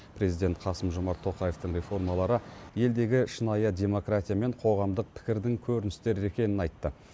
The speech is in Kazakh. президент қасым жомарт тоқаевтың реформалары елдегі шынайы демократия мен қоғамдық пікірдің көріністері екенін айтты